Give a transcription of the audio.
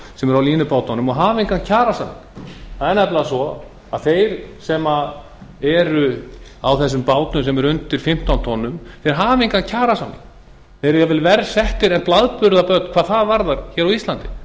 sem eru á línubátunum og hafa engan kjarasamning það er nefnilega svo að þeir sem eru á þessum bátum sem eru undir fimmtán tonnum hafa engan kjarasamning þeir eru jafn vel verr settir en blaðburðarbörn hvað það varðar hér á